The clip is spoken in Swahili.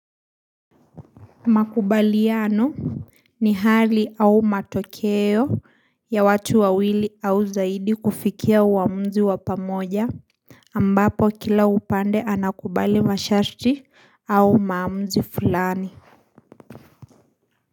Makubaliano ni hali au matokeo ya watu wawili au zaidi kufikia uamuzi wapamoja ambapo kila upande anakubali masharti au maamuzi fulani.